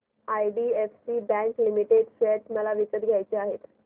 IDFC bank limited share मला विकत घ्यायचे आहेत